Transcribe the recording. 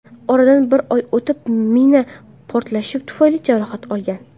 Oradan bir oy o‘tib mina portlashi tufayli jarohat olgan.